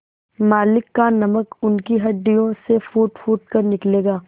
मालिक का नमक उनकी हड्डियों से फूटफूट कर निकलेगा